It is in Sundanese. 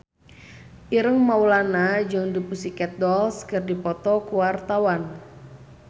Ireng Maulana jeung The Pussycat Dolls keur dipoto ku wartawan